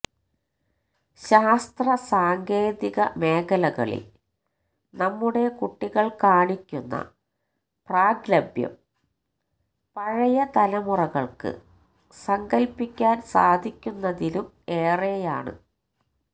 ശാസ്ത്രസാങ്കേതിക മേഖലകളില് നമ്മുടെ കുട്ടികള് കാണിക്കുന്ന പ്രാഗല്ഭ്യം പഴയ തലമുറകള്ക്ക് സങ്കല്പ്പിക്കാന് സാധിക്കുന്നതിലും ഏറെയാണ്